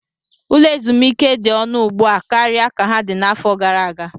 Ụlọ ezumike dị ọnụ ugbu a karịa ka ha dị n'afọ gara aga.